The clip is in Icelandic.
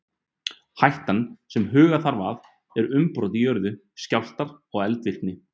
Hættan sem huga þarf að er umbrot í jörðu, skjálftar og eldvirkni.